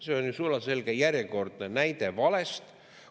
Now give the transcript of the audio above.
See on ju sulaselge järjekordne näide valest.